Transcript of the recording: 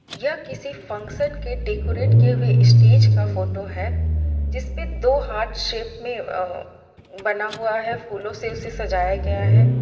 यह किसी फंक्शन के डेकोरेट किए हुए स्टेज का फोटो है जिसपे दो हार्ट शेप में अ बना हुआ है फूलों से उसे सजाया गया है।